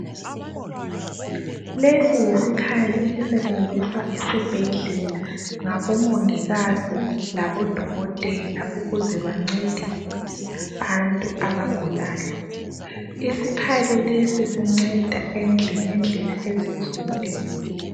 Lesi yisikhali esisetshenziswa esibhedlela ngabomongikazi labo dokotela ukuze bancede abantu abagulayo, isikhali lesi sinceda ngendlela ezitshiyeneyo.